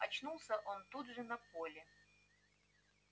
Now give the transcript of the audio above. очнулся он тут же на поле